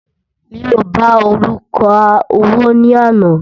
mí o bá oluka owó ní àná